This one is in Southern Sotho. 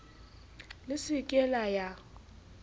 le se ke la ya